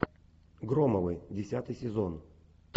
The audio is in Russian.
громовы десятый сезон